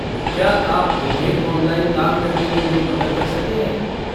क्या आप उन्हें ऑनलाइन दान करने में मेरी मदद कर सकते हैं?